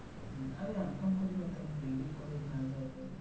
আমি M com করি না তাই daily college না যাওয়াটাই